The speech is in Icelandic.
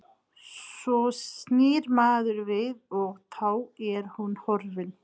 Svo snýr maður við og þá er hún horfin.